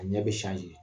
A ɲɛ bɛ